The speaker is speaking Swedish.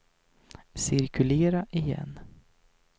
cirkulera igen